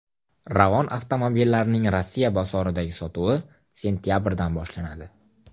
Ravon avtomobillarining Rossiya bozoridagi sotuvi sentabrdan boshlanadi.